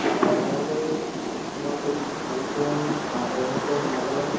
অ, মই বাৰু তোমাৰ গৈছো ভালুকপুং অ অৰুণাচল, নাগালেণ্ড